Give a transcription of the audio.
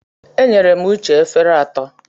Enyere m Uche efere atọ.